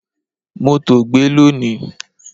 Mó tòògbé lọ ni